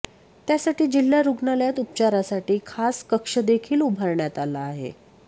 त्यासाठी जिल्हा रुग्णालयात उपचारासाठी खास कक्षदेखील उभारण्यात आला आहे